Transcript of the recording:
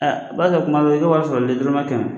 u b'a kɛ kuma dɔ i ka wari sarali dɔrɔmɛ kɛnɛ.